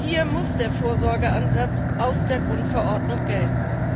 Hier muss der Vorsorgeansatz aus der Grundverordnung gelten.